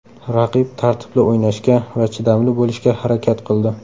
Raqib tartibli o‘ynashga va chidamli bo‘lishga harakat qildi.